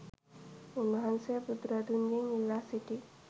උන්වහන්සේ බුදුරදුන්ගෙන් ඉල්ලා සිටි